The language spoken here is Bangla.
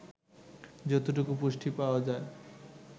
যতটুকু পুষ্টি পাওয়া যায়